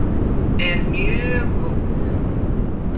er mjög góð.